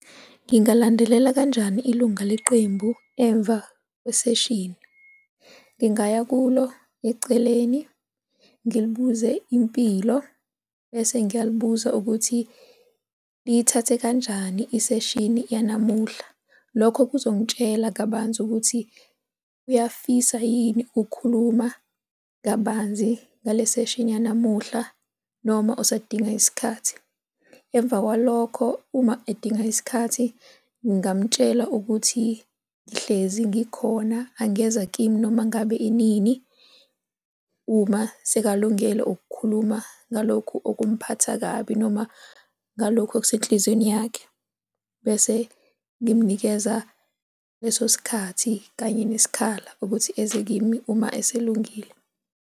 Ngingalandelela kanjani ilunga leqembu emva kweseshini? Ngingaya kulo eceleni ngilibuze impilo bese ngiyalibuza ukuthi liyithathe kanjani iseshini yanamuhla. Lokho kuzongitshela kabanzi ukuthi uyafisa yini ukukhuluma kabanzi ngale seshini yanamuhla noma usadinga isikhathi. Emva kwalokho uma edinga isikhathi ngingamtshela ukuthi ngihlezi ngikhona, angeza kimi noma ngabe inini uma sekalungele ukukhuluma ngalokhu okumphatha kabi noma ngalokhu okusenhliziyweni yakhe, bese ngimnikeza leso sikhathi kanye nesikhala ukuthi eze kimi uma eselungile.